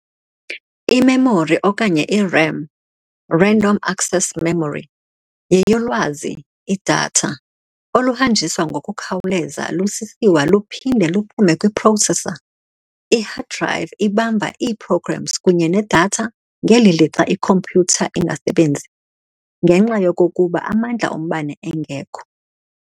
I-memory, okanye i-RAM, random access memory, yeyolwazi lwazi, i-data, oluhanjiswa ngokukhawuleza lusisiwa luphinde luphume kwi-processor. I- hard drive ibamba ii-programs kunye ne-data ngeli lixa ikhompyutha ingasebenzi ngenxa yokokuba amandla ombane engekho.